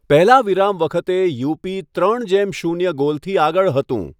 પહેલા વિરામ વખતે, યુપી ત્રણ જેમ શૂન્ય ગોલથી આગળ હતું.